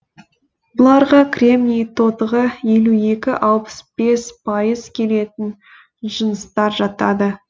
бұларға кремний тотығы елу екі алпыс бес пайыз келетін жыныстар жатады